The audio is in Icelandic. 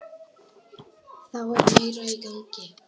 Þá er meira í gangi.